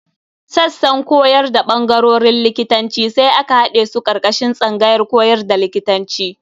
Sassan koyar da ɓangarorin likitanci sai aka haɗe su ƙarƙashin tsangayar koyar da likitanci.